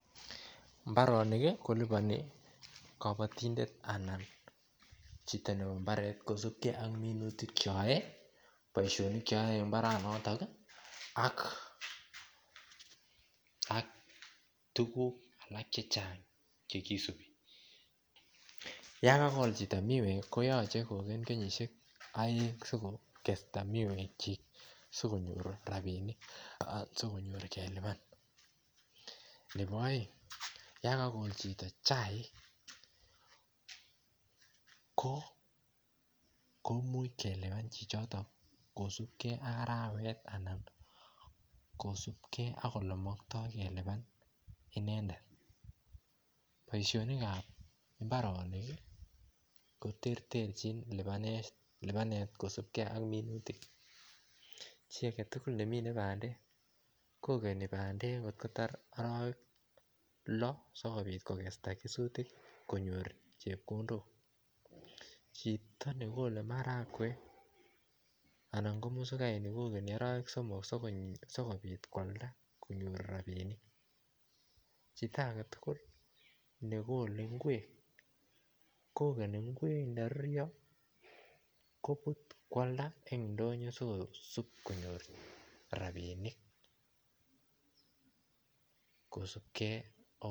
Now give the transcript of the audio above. Imbaronik koliboni kobotindet anan chito kosupgee ak minutik cheyoe boisionik cheyoe imbaranoton ak tuguk alak chechang chegisupi yan kagol chito miwek koyoche kokel kenyisiek aeng asikosta miwek kyik asikonyor rapinik asikonyor kelipan nebo aeng yan kogol chito chaik ko imuch kelewen chito kosupgee ak arawet anan kosupgee ak olemoktoi kelipan inendet boisionik ab imbaronok koterterjin lipanet kosupgee ak minutik chi agetugul kogeni pandek arowek loo asikobiit kogesta minutik asikonyor chepkondok chito negole marakwek anan komururai negole arawek somok asikobiit koalda asikonyor rapinik chito agetugul negole ingwek kogeni ingewek yekako ruryo kobut koalda en indonyo asikoalda asikonyor rapisiek kosupgee ak alut